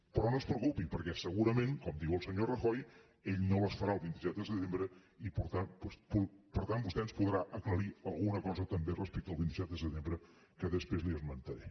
però no es preocupi perquè segurament com diu el senyor rajoy ell no les farà el vint set de setembre i per tant vostè ens podrà aclarir alguna cosa també respecte el vint set de setembre que després li esmentaré